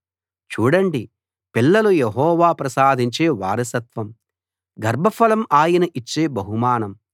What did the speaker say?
చూడండి పిల్లలు యెహోవా ప్రసాదించే వారసత్వం గర్భఫలం ఆయన ఇచ్చే బహుమానం